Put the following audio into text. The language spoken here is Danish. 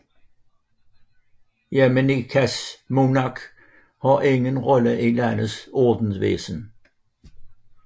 Jamaicas monark har ingen rolle i landets ordensvæsen